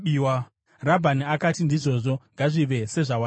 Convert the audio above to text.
Rabhani akati, “Ndizvozvo. Ngazvive sezvawataura.”